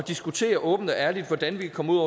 diskutere åbent og ærligt hvordan vi kan komme ud